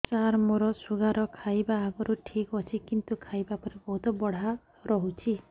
ସାର ମୋର ଶୁଗାର ଖାଇବା ଆଗରୁ ଠିକ ଅଛି କିନ୍ତୁ ଖାଇବା ପରେ ବହୁତ ବଢ଼ା ରହୁଛି